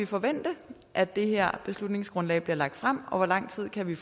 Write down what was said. forvente at det her beslutningsgrundlag bliver lagt frem og hvor lang tid vi